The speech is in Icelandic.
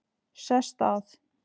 Sest að.